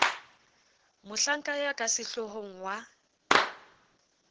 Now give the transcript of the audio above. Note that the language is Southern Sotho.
mohlanka ya ka sehloohong wa